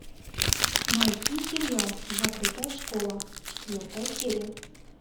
найти сериал закрытая школа четвертая серия